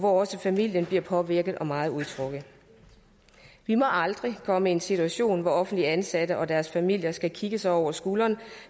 også familien bliver påvirket af og meget utrygge vi må aldrig komme i en situation hvor offentligt ansatte og deres familier skal kigge sig over skulderen